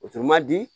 O tun man di